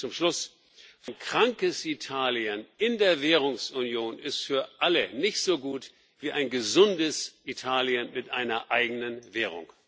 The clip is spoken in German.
Hier komme ich zum Schluss Ein krankes Italien in der Währungsunion ist für alle nicht so gut wie ein gesundes Italien mit einer eigenen Währung.